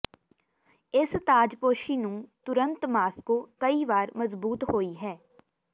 ਇਸ ਤਾਜਪੋਸ਼ੀ ਨੂੰ ਤੁਰੰਤ ਮਾਸ੍ਕੋ ਕਈ ਵਾਰ ਮਜ਼ਬੂਤ ਹੋਈ ਹੈ